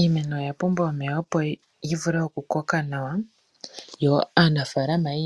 Iimeno oya pumbwa omeya opo yivule oku koka nawa yo aanafaalama yi